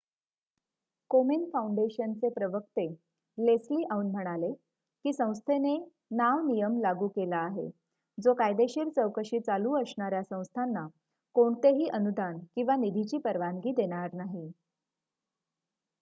कोमेन foundation चे प्रवक्ते Leslie Aun म्हणाले की संस्थेने नाव नियम लागू केला आहे जो कायदेशीर चौकशी चालू असणाऱ्या संस्थाना कोणतेही अनुदान किंवा निधीची परवानगी देणार नाही